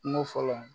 Kungo fɔlɔ